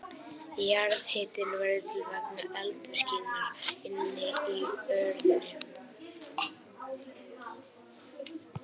Jarðhitinn verður til vegna eldvirkninnar inni í jörðinni.